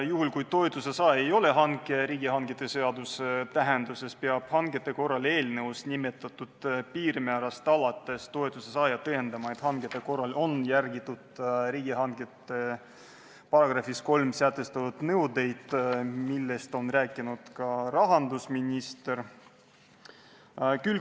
Juhul, kui toetuse saaja ei ole riigihangete seaduse tähenduses hankija, peab toetuse saaja eelnõus nimetatud piirmäärast alates tõestama, et hangete puhul on järgitud riigihangete seaduse § 3 sätestatud nõudeid, millest rääkis ka rahandusminister.